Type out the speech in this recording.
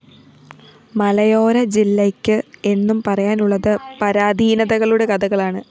മലയോര ജില്ലയ്ക്ക്‌ എന്നും പറയാനുള്ളത്‌ പരാധീനതകളുടെ കഥകളാണ്‌